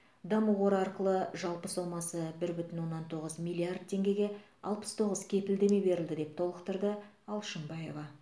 даму қоры арқылы жалпы сомасы бір бүтін оннан тоғыз миллиард теңгеге алпыс тоғыз кепілдеме берілді деп толықтырды алшынбаева